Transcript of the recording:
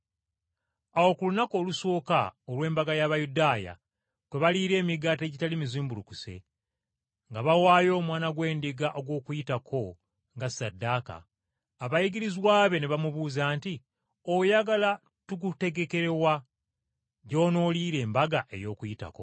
Awo ku lunaku olusooka olw’embaga y’Abayudaaya kwe baliira emigaati egitali mizimbulukuse, nga bawaayo omwana gw’endiga ogw’Okuyitako nga ssaddaaka, abayigirizwa be ne bamubuuza nti, “Oyagala tukutegekere wa gy’onooliira Embaga ey’Okuyitako.”